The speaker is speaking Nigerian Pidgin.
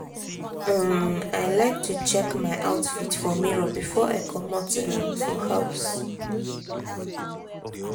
um i like to check my outfit for mirror before i comot um for house.